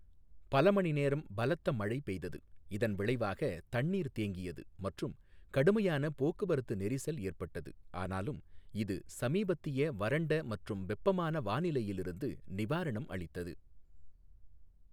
பல மணி நேரம் பலத்த மழை பெய்தது, இதன் விளைவாக தண்ணீர் தேங்கியது மற்றும் கடுமையான போக்குவரத்து நெரிசல் ஏற்பட்டது, ஆனாலும் இது சமீபத்திய வறண்ட மற்றும் வெப்பமான வானிலையிலிருந்து நிவாரணம் அளித்தது.